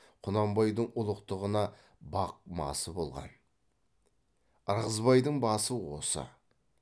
құнанбайдың ұлықтығына бақ масы болған ырғызбайдың басы осы